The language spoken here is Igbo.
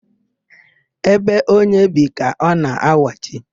Ébé onye bi ka ọ na-awachi.